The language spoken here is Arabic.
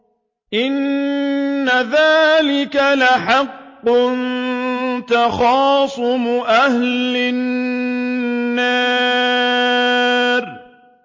إِنَّ ذَٰلِكَ لَحَقٌّ تَخَاصُمُ أَهْلِ النَّارِ